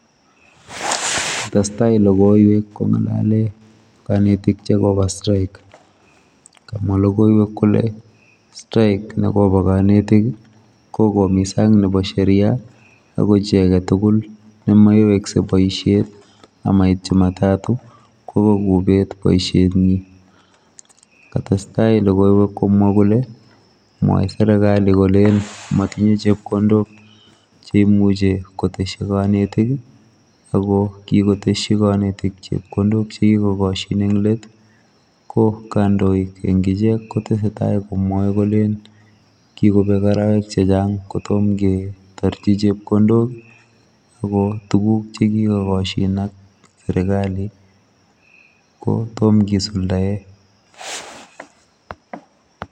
Testai logoiywek kongalale kanetik chikoba strike kamwae logoiywek Kole strike nekoba kanetik kokomisa Nebo Sheria ako chi agetugul nemaiwekse baishet amait chumatatu kokobet baishet en yu kotestai logoiywek Kole mwae serekali Kole matinye chepkondok cheimuche koteshi kanetik ako kikoteshi kanetik chepkondok chekikoshin en let ko kandoik kotestai komwae Kole kikobek arawek chechang kotomonketaji chepkondok ako tuguk chekigogashin AK serigali kotomo kesulda ?